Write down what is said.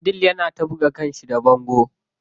Abdul yana ta buga kanshi a bango.